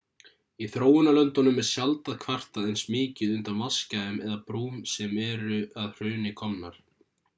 í þróunarlöndunum er sjaldan kvartað eins mikið undan vatnsgæðum eða brúm sem eru að hruni komnar